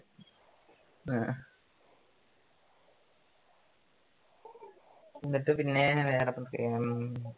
എന്നിട്ട് വേറെ എന്തൊക്കെയാണ് പ്രത്യേകം